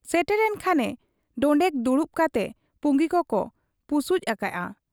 ᱥᱮᱴᱮᱨᱮᱱ ᱠᱷᱟᱱᱮ ᱰᱚᱸᱰᱮᱠ ᱫᱩᱲᱩᱵ ᱠᱟᱛᱮ ᱯᱩᱸᱜᱤ ᱠᱚᱠᱚ ᱯᱩᱥᱩᱡ ᱟᱠᱟᱜ ᱟ ᱾